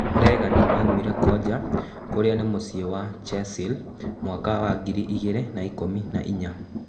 Regani aumire Konja, kũria nĩ mĩciĩ wa Chasile mwaka wa ngiri igĩrĩ na ikũmi na-inya.